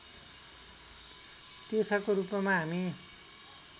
तीर्थको रूपमा हामी